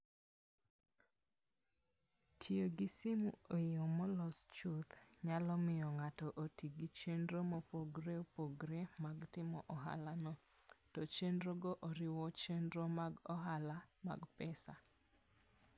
Tiyo gi simu e yo molos chuth, nyalo miyo ng'ato oti gi chenro mopogore opogore mag timo ohalano, to chenrogo oriwo chenro mag ohala mag pesa.